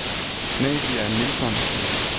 Nadia Nilsson